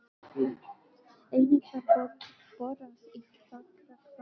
Einnig var borað í Fagrahvammi í